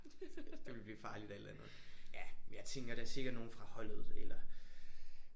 Det ville blive farligt alt andet. Ja jeg tænker da sikkert nogen fra holdet eller